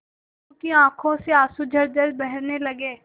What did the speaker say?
मीनू की आंखों से आंसू झरझर बहने लगे